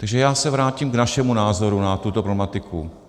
Takže já se vrátím k našemu názoru na tuto problematiku.